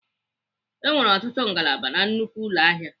E nwere ọtụtụ ngalaba na nnukwu ụlọ ahịa.